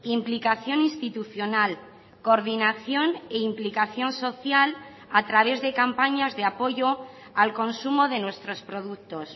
implicación institucional coordinación e implicación social a través de campañas de apoyo al consumo de nuestros productos